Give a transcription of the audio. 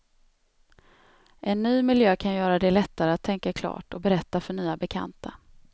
En ny miljö kan göra det lättare att tänka klart och berätta för nya bekanta.